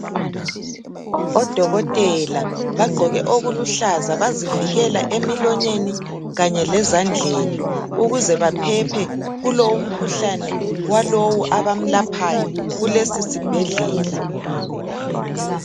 Odokotela bagqoke okuluhlaza bazivikela emilonyeni kanye lezandleni ukuze baphephe kulowu mkhuhlane walowu abamlaphayo kulesisibhedlela.